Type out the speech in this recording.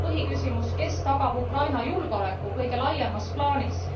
Ja põhiküsimus kes tagab Ukraina julgeoleku kõige laiemas plaanis?